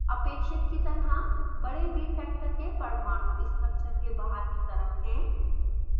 अपेक्षित की तरह बड़े bfactors के परमाणु स्ट्रक्चर के बाहर की तरफ हैं